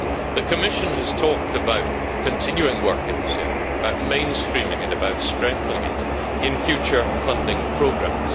The Commission has talked about continuing work in this area, about mainstreaming it, about strengthening it in future funding programmes.